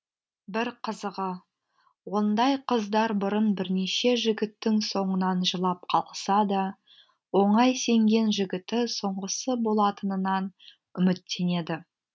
бір қызығы ондай қыздар бұрын бірнеше жігіттің соңынан жылап қалса да оңай сенген жігіті соңғысы болатынынан үміттенеді